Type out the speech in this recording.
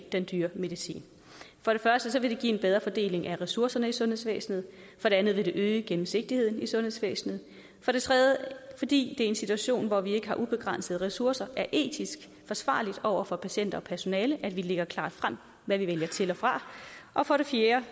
den dyre medicin for det første vil det give en bedre fordeling af ressourcerne i sundhedsvæsenet for det andet vil det øge gennemsigtigheden i sundhedsvæsenet for det tredje fordi i en situation hvor vi ikke har ubegrænsede ressourcer er etisk forsvarligt over for patienter og personale at vi lægger klart frem hvad vi vælger til og fra og for det fjerde